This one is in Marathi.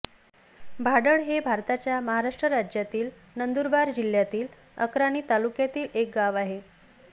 भाडळ हे भारताच्या महाराष्ट्र राज्यातील नंदुरबार जिल्ह्यातील अक्राणी तालुक्यातील एक गाव आहे